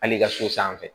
Hali i ka so sanfɛ